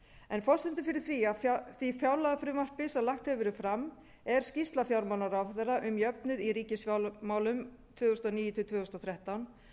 en forsendur fyrir því fjárlagafrumvarpi sem lagt hefur verið fram er skýrsla fjármálaráðherra um jöfnuð í ríkisfjármálum tvö þúsund og níu til tvö þúsund og þrettán